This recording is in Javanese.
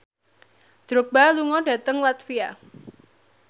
Drogba lunga dhateng latvia